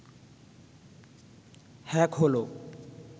hack হল